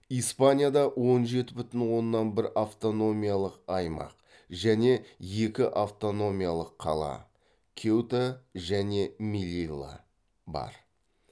испанияда он жеті бүтін оннан бір автономиялық аймақ және екі автономиялық қала кеута және милилла бар